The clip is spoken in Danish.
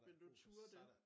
Ville du ture det?